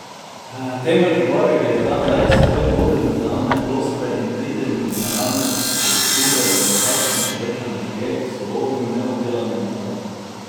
Temelj kiparjevega izraza je spoj dvodimenzionalne ploskve in tridimenzionalne skulpture v nekakšen povečan relief s surovim, neobdelanim ozadjem.